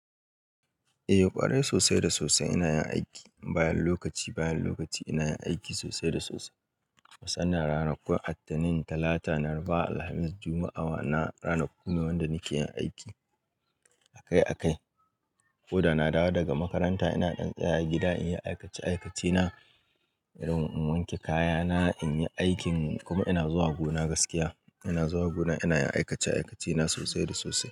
Eh kwarai sosai da sosai ina yin aiki bayan lokaci bayan lokaci ina yin aiki musamman ranakun attanin talata laraba alhamis juma'a wadannan ranaku da nakeyin aiki akai akai. Koda na dawo daga makaranta ina ɗan tsaya gida in yi aikace-aikacena, in wanke kayana, in yi aikin kuma ina zuwa gona gaskiya. Ina zuwa gona ina yin aikace-aikacena sosai da sosai.